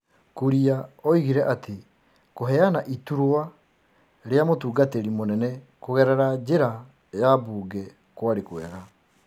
Kuria oigire atĩ kũheana iturwa rĩa mũtungatĩri mũnene kũgerera njĩra ya mbunge kwarĩ kwega.